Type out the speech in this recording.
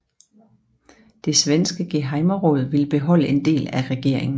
Det svenske gehejmeråd ville beholde en del af regeringen